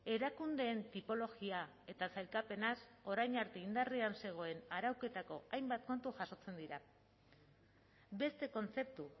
erakundeen tipologia eta sailkapenaz orain arte indarrean zegoen arauketako hainbat kontu jasotzen dira beste kontzeptu